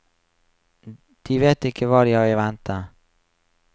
De vet ikke hva de har i vente.